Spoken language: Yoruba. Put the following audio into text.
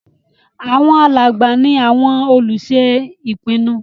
Àwọn alàgbà ní àwọn olùṣe ìpinnu